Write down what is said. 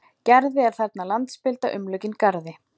Gerði er þarna landspilda umlukin garði.